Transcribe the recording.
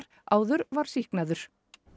áður var sýknaður